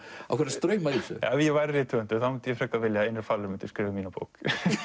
strauma í þessu ef ég væri rithöfundur vildi ég frekar að Einar falur myndi skrifa um mína bók